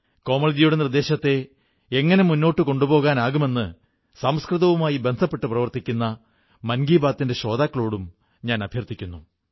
കോമൾജിയുടെ നിർദ്ദേശത്തെ എങ്ങനെ മുന്നോട്ടു കൊണ്ടുപോകാമെന്ന് സംസ്കൃതവുമായി ബന്ധപ്പെട്ട് പ്രവർത്തിക്കുന്ന മൻ കീ ബാത്തിന്റെ ശ്രോതാക്കളോടും ഞാൻ അഭ്യർഥിക്കുന്നു